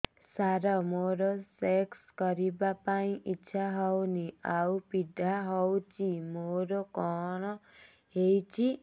ସାର ମୋର ସେକ୍ସ କରିବା ପାଇଁ ଇଚ୍ଛା ହଉନି ଆଉ ପୀଡା ହଉଚି ମୋର କଣ ହେଇଛି